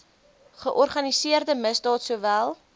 georganiseerde misdaad sowel